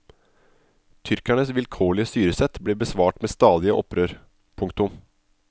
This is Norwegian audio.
Tyrkernes vilkårlige styresett ble besvart med stadige opprør. punktum